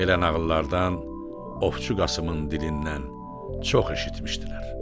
Belə nağıllardan Ovçu Qasımın dilindən çox eşitmişdilər.